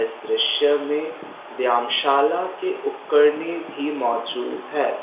इस दृश्य में व्यामशाला के उपकरणे भी मौजूद हैं।